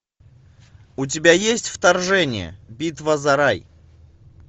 у тебя есть вторжение битва за рай